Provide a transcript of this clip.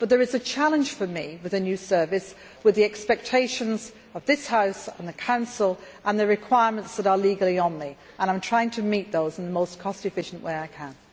But there is a challenge for me with a new service, with the expectations of this House and the Council and the requirements that are legally on me, and I am trying to meet those in the most cost efficient way I can.